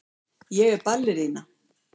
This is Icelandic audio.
Ég er ballerína.